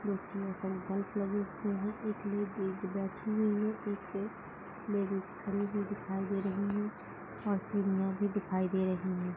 Bulb लगे हुए है एक लेडीज बैठी हुयी है सीट पे एक लेडीज खड़ी हुयी दिखाई दे रही है और सीढियाँ भी दिखाई दे रही है।